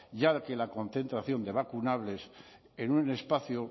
ya que la concentración de vacunables en un espacio